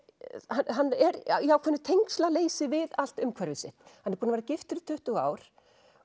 hann er í ákveðnu tengslaleysi við allt umhverfi sitt hann er búinn að vera giftur í tuttugu ár